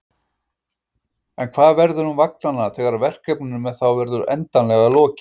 En hvað verður um vagnanna þegar verkefninu með þá verður endanlega lokið?